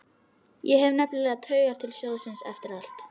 Ég hef nefnilega taugar til sjóðsins eftir allt.